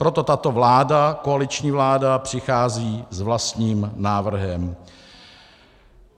Proto tato vláda, koaliční vláda, přichází s vlastním návrhem.